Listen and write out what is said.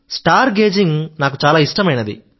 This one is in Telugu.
స్టార్ గేజింగ్ నాకు చాలా ఇష్టమైనది